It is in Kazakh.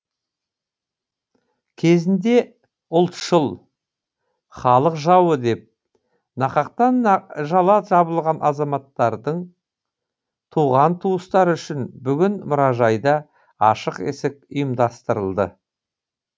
кезінде ұлтшыл халық жауы деп нақақтан жала жабылған азаматтардың туған туыстары үшін бүгін мұражайда ашық есік ұйымдасырылды